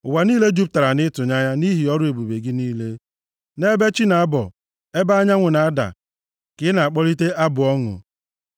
Ụwa niile jupụtara nʼịtụnanya nʼihi ọrụ ebube gị niile, nʼebe chi na-abọ, ebe anyanwụ na-ada, ka ị na-akpọlite abụ ọṅụ.